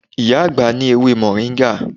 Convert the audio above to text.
Iya agba ni ewe moringa